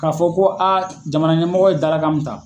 Ka fɔ ko a jamana ɲɛmɔgɔ ye dalakan mun ta.